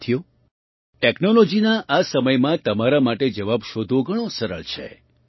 સાથીઓ ટૅક્નૉલૉજીના આ સમયમાં તમારા માટે જવાબ શોધવો ઘણો સરળ છે